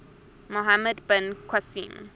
muhammad bin qasim